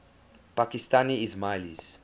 pakistani ismailis